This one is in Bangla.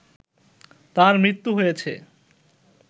তাঁর মৃত্যু হয়েছে